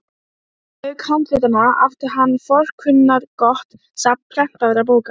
Ég geri mér ljóst að persónuleiki minn þolir ekki áfengi.